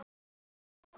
Tegund: Gaman, Drama